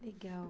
Legal.